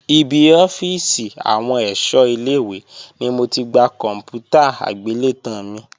Ibi ọ́fíìsì àwọn ẹ̀ṣọ́ ilé-ìwé ni mo ti gba kòǹpútà agbélétan mi